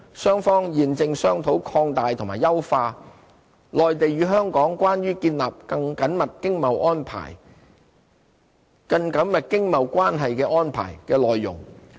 雙方現正商討擴大和優化"內地與香港關於建立更緊密經貿關係的安排"的內容。